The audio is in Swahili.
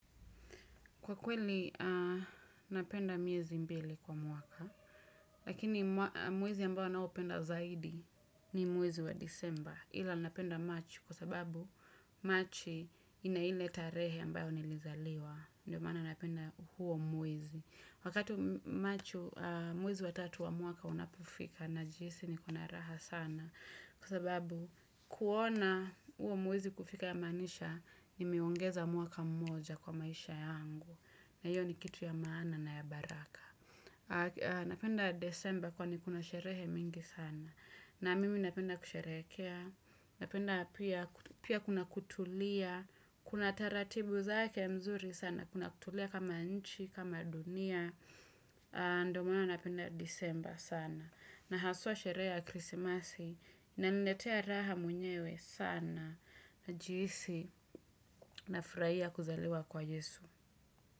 Kwa kweli, napenda miezi mbili kwa mwaka. Lakini mwezi ambao naupenda zaidi ni mwezi wa Disemba. Ila napenda Machi kwa sababu Machi ina ile tarehe ambayo nilizaliwa. Ndio maana napenda huo mwezi. Wakati Machi, mwezi wa tatu wa mwaka unapo fika, najihisi niko na raha sana. Kwa sababu kuona huo mwezi kufika yamaanisha, nimeongeza mwaka moja kwa maisha yangu. Na hiyo ni kitu ya maana na ya baraka. Napenda Desemba kwani kuna sherehe mingi sana. Na mimi napenda kusherekea. Napenda pia kuna kutulia. Kuna taratibu zake nzuri sana. Kuna kutulia kama nchi, kama dunia. Ndo maana napenda Disemba sana. Na haswa sherehe ya krisimasi. Inaniletea raha mwenyewe sana. Najihisi nafurahia kuzaliwa kwa Yesu.